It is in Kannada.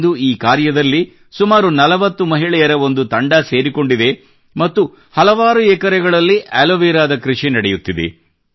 ಇಂದು ಈ ಕಾರ್ಯದಲ್ಲಿ ಸುಮಾರು ನಲವತ್ತು ಮಹಿಳೆಯರ ಒಂದು ತಂಡ ಸೇರಿಕೊಂಡಿದೆ ಮತ್ತು ಹಲವಾರು ಎಕರೆಗಳಲ್ಲಿ ಆಲೋವೆರಾದ ಕೃಷಿ ನಡೆಯುತ್ತಿದೆ